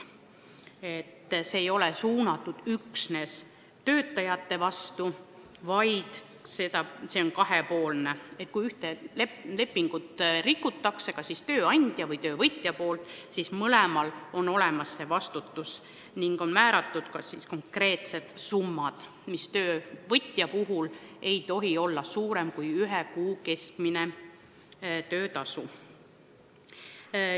See säte ei ole suunatud üksnes töötajate vastu, vaid see toimub kahepoolselt: kui lepingut rikub kas tööandja või töövõtja, siis mõlemal on olemas vastutus ning on määratud kindlaks ka konkreetsed summad, kusjuures töövõtja puhul ei tohi see olla suurem kui ühe kuu keskmine töötasu.